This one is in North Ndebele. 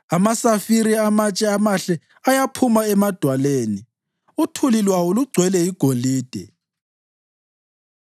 amasafire amatshe amahle ayaphuma emadwaleni, uthuli lwawo lugcwele igolide.